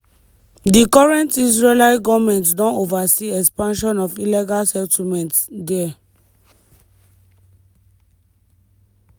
di current israeli goment don oversee expansion of illegal settlements dia.